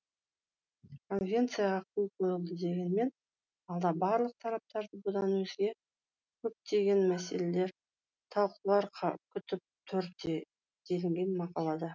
конвенцияға қол қойылды дегенмен алда барлық тараптарды бұдан өзге көптеген мәселелер талқылаулар күтіп тұр делінген мақалада